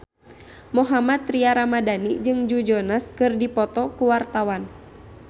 Mohammad Tria Ramadhani jeung Joe Jonas keur dipoto ku wartawan